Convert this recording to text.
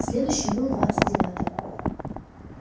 следующим был двадцать девятый